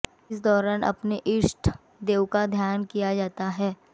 इस दौरान अपने ईष्ट देव का ध्यान किया जाता है